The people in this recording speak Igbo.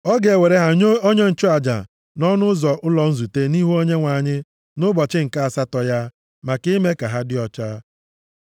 “Ọ ga-ewere ha nye onye nchụaja nʼọnụ ụzọ ụlọ nzute nʼihu Onyenwe anyị, nʼụbọchị nke asatọ ya, maka ime ka ha dị ọcha.